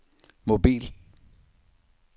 mobil